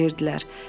dütmələyirdilər.